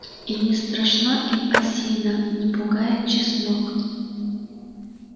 и не страшна им осина не пугает чеснок